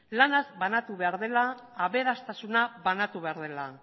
lanak banatu behar direla aberastasuna banatu behar dela